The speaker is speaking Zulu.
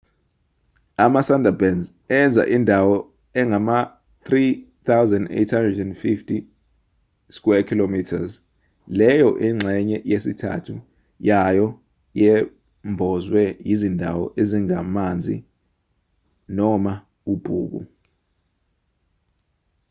ama-sundarbans enza indawo engama-3,850 km² leyo ingxenye yesithathu yayo yembozwe yizindawo ezingamanzi/ubhuku